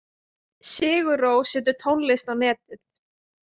Sigur Rós setur tónlist á netið